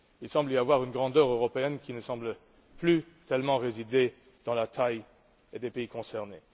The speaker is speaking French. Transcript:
Il semble y avoir une grandeur européenne qui ne paraît plus tellement résider dans la taille des pays concernés.